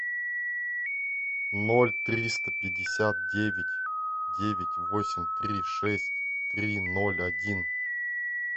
ноль триста пятьдесят девять девять восемь три шесть три ноль один